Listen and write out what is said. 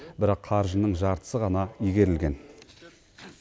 бірақ қаржының жартысы ғана игерілген